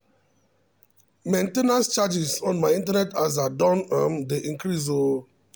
main ten ance charges on my internet aza don um dey increase o